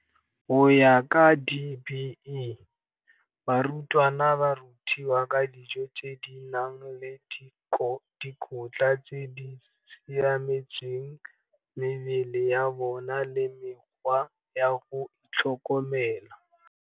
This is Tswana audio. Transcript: Go ya ka DBE, barutwana ba rutiwa ka dijo tse di nang le dikotla tse di siametseng mebele ya bona le mekgwa ya go itlhokomela.